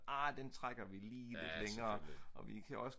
arh den trækker vi lige lidt længere og vi kan også